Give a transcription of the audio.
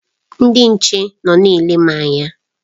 Ndị nche nọ na-ele m anya.